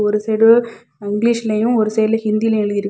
ஒரு சைடு இங்கிலிஷ்லயும் ஒரு சைடுல ஹிந்திலயு எழுதிருக்கு.